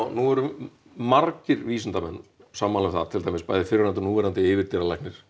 nú erum margir vísindamenn sammála um það til dæmis fyrrverandi og núverandi yfirdýralæknir